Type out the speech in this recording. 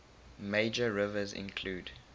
major rivers include